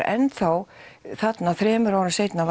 enn þá þarna þremur árum seinna